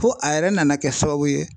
Fo a yɛrɛ nana kɛ sababu ye